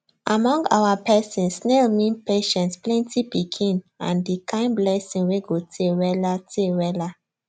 among our person snail mean patience plenty pikin and the kind blessing wey go tey weller tey weller